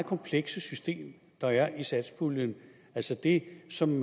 komplekse system der er i satspuljen altså det som